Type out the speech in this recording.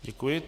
Děkuji.